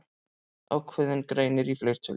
Ákveðinn greinir í fleirtölu.